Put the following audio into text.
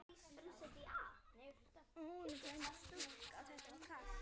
Ónefnd stúlka: Var þetta kalt?